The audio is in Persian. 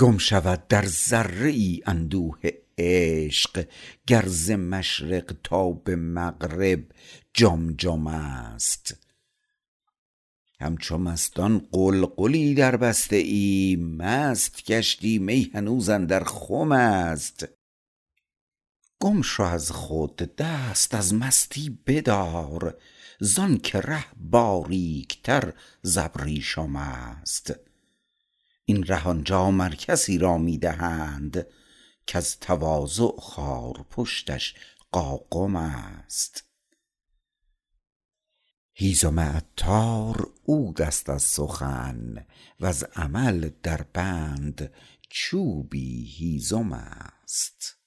گم شود در ذره ای اندوه عشق گر ز مشرق تا به مغرب جم جم است همچو مستان غلغلی دربسته ای مست گشتی می هنوز اندر خم است گم شو از خود دست از مستی بدار زانکه ره باریکتر زابریشم است این ره آنجا مر کسی را می دهند کز تواضع خارپشتش قاقم است هیزم عطار عود است از سخن وز عمل در بند چوبی هیزم است